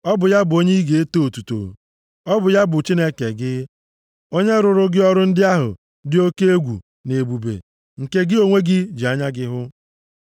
Ọ bụ ya bụ onye ị ga-eto otuto, ọ bụ ya bụ Chineke gị, onye rụrụ gị ọrụ ndị ahụ dị oke egwu na ebube, nke gị onwe gị ji anya gị hụ.